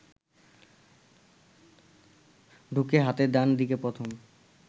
ঢুকে হাতের ডান দিকে প্রথম